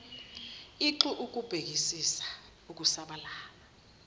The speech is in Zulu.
ix ukubhekisisa ukusabalala